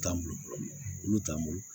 T'an bolo olu t'an bolo